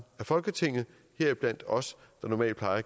af folketinget heriblandt os der normalt